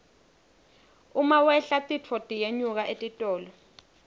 uma wehla titfo tiyenyuka etitolo